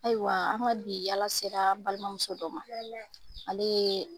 Ayiwa, an ka bi yala sera an balimamuso dɔ ma, Ale ye.